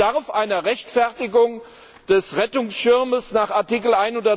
Es bedarf einer Rechtfertigung des Rettungsschirmes nach Artikel